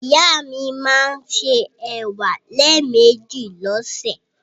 Ìyá mi máa ń se ẹ̀wà lẹ́ẹ̀mejì lọ́sẹ̀.